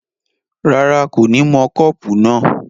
rárá, kò ní mọ kọ́pù náà